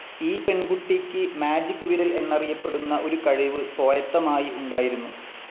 ഈ പെൺകുട്ടിക്ക് മാജിക്‌ വിരൽ എന്നറിയപ്പെടുന്ന ഒരു കഴിവ് സ്വായത്തമായി ഉണ്ടായിരുന്നു.